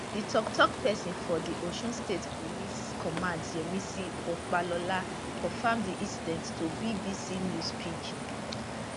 di toktok pesin for di osun state police command yemisi opalola confam di incident to bbc news pidgin